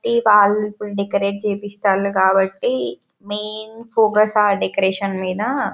ఇ వాళ్లు డెకరేట్ చేపిస్తాను కాబట్టి మెయిన్ ఫోకస్ ఆ డెకరేషన్ మీద --